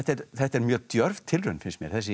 þetta er mjög djörf tilraun finnst mér þessi